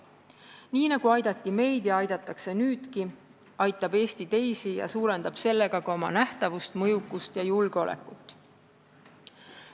Nii nagu aidati meid ja aidatakse nüüdki, aitab Eesti teisi ja suurendab sellega ka oma nähtavust, mõjukust ja julgeolekut.